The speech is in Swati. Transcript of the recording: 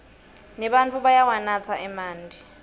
nebatfu bayawanatsa emanti